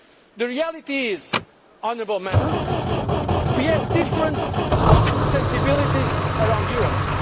made. The reality is, honourable Members, we have different sensibilities around